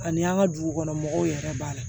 Ani an ka dugu kɔnɔ mɔgɔw yɛrɛ b'a la